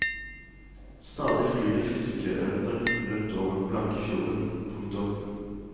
Stadig flyr det fiskeørner rundt over den blanke fjorden. punktum